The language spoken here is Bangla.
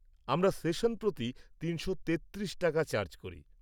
আমরা সেশন প্রতি ৩৩৩/- টাকা চার্জ করি।